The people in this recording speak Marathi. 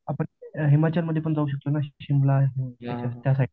आपण हिमाचलमध्ये पण जाऊ शकतो ना शिमला त्या साईटला